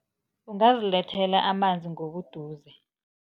Ungazilethela amanzi ngobuduze.